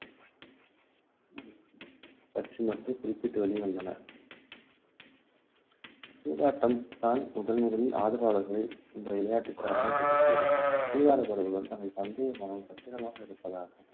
பற்றி மட்டும் குறிப்பிட்டு வெளிவந்தன சூதாட்டம்தான் முதன்முதலில் ஆடுகளங்களில் இந்த விளையாட்டுக்கு அறிமுகப்படுத்தியது சூதாடுபவர்கள் பந்தயப்பணம் பத்திரமாக இருப்பதற்காக